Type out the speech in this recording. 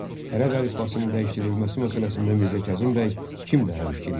Ərəb əlifbasının dəyişdirilməsi məsələsində Mirzə Kazım bəy kimlə həmfikir idi?